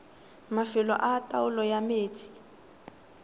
mafelo a taolo ya metsi